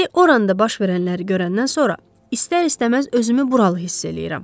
İndi Orannda baş verənləri görəndən sonra istər-istəməz özümü buralı hiss eləyirəm.